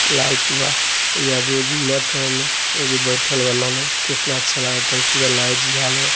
Light बा। ऐजा आदमी घुमत ह ऐने ओर वो बइठल वान कितना अच्छा लगता पूरा लाईट झालर।